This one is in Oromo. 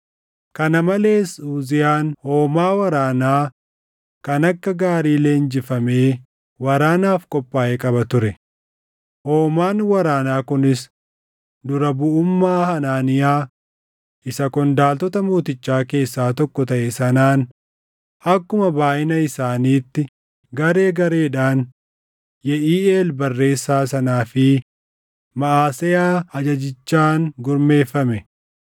Kana malees Uziyaan hoomaa waraanaa kan akka gaarii leenjifamee waraanaaf qophaaʼe qaba ture; hoomaan waraanaa kunis dura buʼummaa Hanaaniyaa isa qondaaltota mootichaa keessaa tokko taʼe sanaan akkuma baayʼina isaaniitti garee gareedhaan Yeʼiiʼeel barreessaa sanaa fi Maʼaseyaa ajajjichaan gurmeeffame.